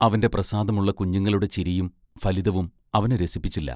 അവന്റെ പ്രസാദമുള്ള കുഞ്ഞുങ്ങളുടെ ചിരിയും ഫലിതവും അവനെ രസിപ്പിച്ചില്ല.